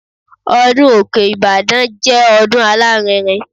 Ọdún Òkè Ìbàdàn jẹ́ ọdún alárinrin.